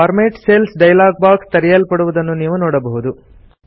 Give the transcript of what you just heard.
format cells dialog box ತೆರೆಯಲ್ಪಡುವುದನ್ನು ನೀವು ನೋಡಬಹುದು